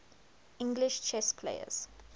english chess players